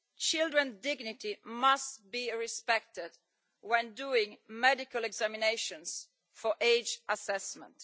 Children's dignity must be respected when doing medical examinations for age assessment.